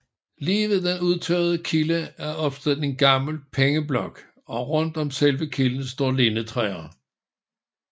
Lige ved den udtørrede kilde er opstillet en gammel pengeblok og rundt om selve kilden står lindetræer